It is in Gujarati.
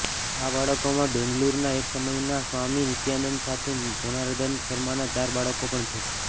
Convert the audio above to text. આ બાળકોમાં બેંગલુરુના એકસમયના સ્વામી નિત્યાનંદના સાથી જનાર્દન શર્માનાં ચાર બાળકો પણ છે